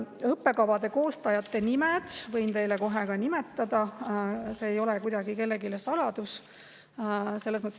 " Õppekavade koostajate nimed võin teile kohe nimetada, see ei ole kuidagi kellelegi saladus.